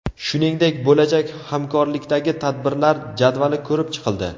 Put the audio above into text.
Shuningdek, bo‘lajak hamkorlikdagi tadbirlar jadvali ko‘rib chiqildi.